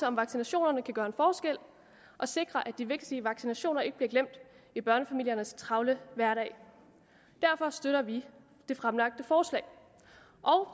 om vaccinationerne kan gøre en forskel og sikre at de vigtige vaccinationer ikke bliver glemt i børnefamiliernes travle hverdag derfor støtter vi det fremlagte forslag